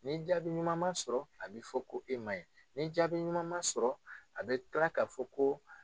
Ni jaabi ɲuman ma sɔrɔ a be fɔ ko e man ɲi , ni jaabi ɲuman ma sɔrɔ a bi kila ka fɔ ko